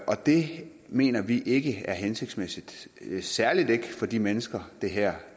og det mener vi ikke er hensigtsmæssigt særlig ikke for de mennesker det her